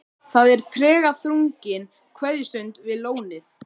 Það er tregaþrungin kveðjustund við lónið.